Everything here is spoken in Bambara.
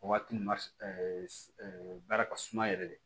O waati baara ka suma yɛrɛ de